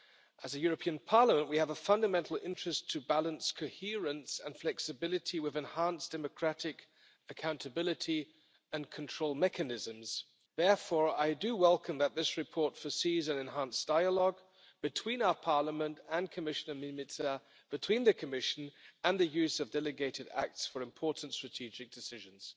As a European Parliament, we have a fundamental interest in balancing coherence and flexibility with enhanced democratic accountability and control mechanisms. Therefore, I do welcome that this report provides for an enhanced dialogue between our Parliament and Commissioner Mimica between the Commission and the use of delegated acts for important strategic decisions.